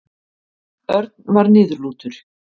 Örn var niðurlútur.